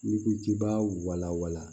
N'i ko k'i b'a wala wala